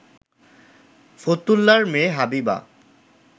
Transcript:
ফতুল্লার মেয়ে হাবিবা